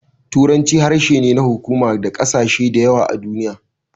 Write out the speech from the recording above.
Turanci harshe ne na hukuma ga ƙasashe da yawa a duniya.